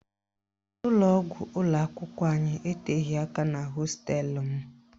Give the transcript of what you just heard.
Ụlọgwụ ụlọakwụkwọ anyị etoghi aka na hosteelụ m